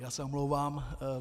Já se omlouvám.